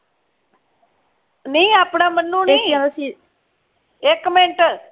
ਨਹੀਂ ਆਪਣਾ ਮਨੁ ਨਹੀਂ ਇਕ ਮਿੰਟ